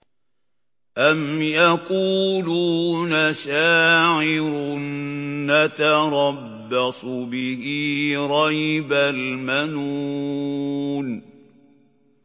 أَمْ يَقُولُونَ شَاعِرٌ نَّتَرَبَّصُ بِهِ رَيْبَ الْمَنُونِ